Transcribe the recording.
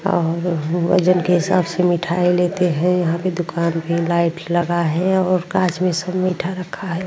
और वजन के हिसाब से मिठाई लेते हैं। यहाँ पे दुकान मे लाइट लगा है और कांच में सब मीठा रखा है।